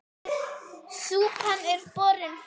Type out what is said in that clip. Súpan er borin fram.